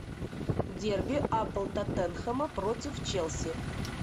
дерби апл тоттенхэма против челси